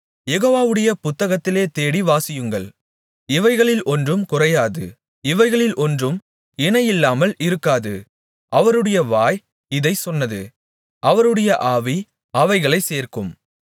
யெகோவாவுடைய புத்தகத்திலே தேடி வாசியுங்கள் இவைகளில் ஒன்றும் குறையாது இவைகளில் ஒன்றும் இணை இல்லாமல் இருக்காது அவருடைய வாய் இதைச் சொன்னது அவருடைய ஆவி அவைகளைச் சேர்க்கும்